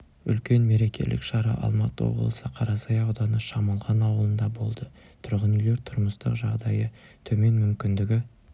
үлкен мерекелік шара алматы облысы қарасай ауданы шамалған ауылында болды тұрғын үйлер тұрмыстық жағдайы төмен мүмкіндігі